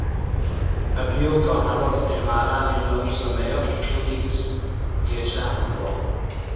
Apioca waxaa loo isticmaalaa in lagu sameeyo puddings iyo shaaha xumbo.